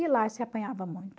E lá se apanhava muito.